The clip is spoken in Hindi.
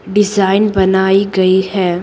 डिज़ाइन बनाई गई है।